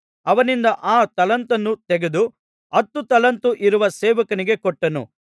ಅವನಿಂದ ಆ ತಲಾಂತನ್ನು ತೆಗೆದು ಹತ್ತು ತಲಾಂತು ಇರುವ ಸೇವಕನಿಗೆ ಕೊಟ್ಟನು